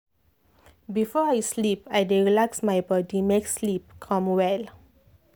if place calm i dey feel myself well.